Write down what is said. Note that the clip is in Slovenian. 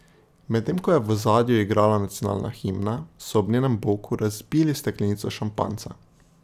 Medtem ko je v ozadju igrala nacionalna himna, so ob njenem boku razbili steklenico šampanjca.